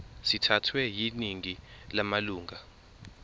sithathwe yiningi lamalunga